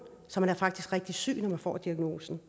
så man er faktisk rigtig syg når man får diagnosen